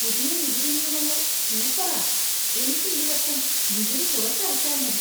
പുതിയ നികുതി നിയമങ്ങൾ സൂപ്പറാ! എനിക്ക് ഈ വർഷം നികുതി കുറച്ചടച്ചാൽ മതി !